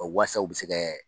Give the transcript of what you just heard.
waasa u bɛ se kɛ